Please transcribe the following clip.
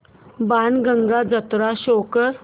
बाणगंगा जत्रा शो कर